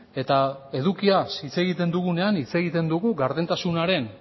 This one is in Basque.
eta edukiaz hitz egiten dugunean hitz egiten dugu gardentasunaren